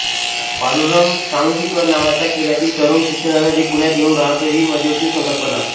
पांडुरंग सांगवीकर नावाचा खेड्यातील तरूण शिक्षणासाठी पुण्यात येऊन रहातो ही मध्यवर्ती संकल्पना